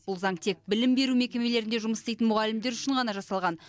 бұл заң тек білім беру мекемелерінде жұмыс істейтін мұғалімдер үшін ғана жасалған